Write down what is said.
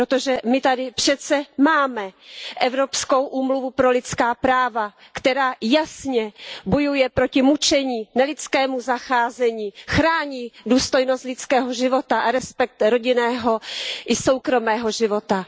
Protože my tady přece máme Evropskou úmluvu o lidských právech, která jasně bojuje proti mučení, nelidskému zacházení, chrání důstojnost lidského života a respekt rodinného i soukromého života.